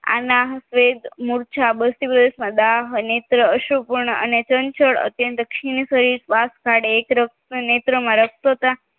આના વેદ મોરચા મોરચી પ્રદેશમાં દાહ અનેત્ર અસુભણ અને ચંચળ અત્યંત શ્રીણ કરી શ્વાસ કાઢી એક રોગ નેત્ર માં રક્તતા